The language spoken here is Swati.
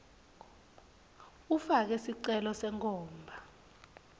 ufake sicelo senkhomba